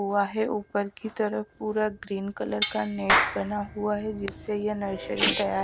हुआ है ऊपर की तरफ पूरा ग्रीन कलर का नेट बना हुआ है जिससे ये नर्सरी तैयार--